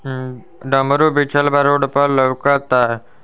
अ डमरू बेचॉल बा रोड पर लउका ता।